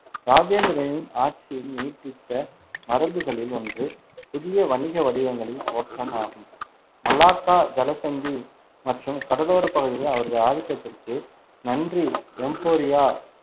ராஜேந்திரனின் ஆட்சி நீடித்த மரபுகளில் ஒன்று புதிய வணிக வடிவங்களின் தோற்றம் ஆகும். மலாக்கா ஜலசந்தி மற்றும் கடலோரப் பகுதிகளில் அவரது ஆதிக்கத்திற்கு நன்றி எம்போரியா